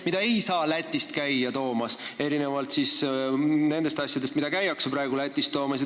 Seda ei saa käia Lätist toomas erinevalt nendest asjadest, mida praegu käiakse Lätist toomas.